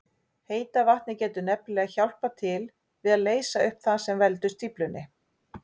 Heita vatnið getur nefnilega hjálpað til við að leysa upp það sem veldur stíflunni.